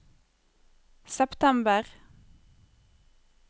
september